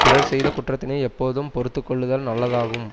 பிறர் செய்த குற்றத்தினை எப்போதும் பொறுத்துக்கொள்ளுதல் நல்லதாகும்